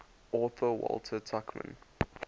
author walter tuchman